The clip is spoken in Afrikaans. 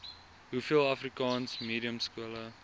hoeveel afrikaansenkelmediumskole